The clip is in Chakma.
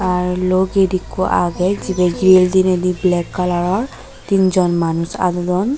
ar lo gate ikko agey jibey gil diney di black kalaror tin jon manus aadwdon.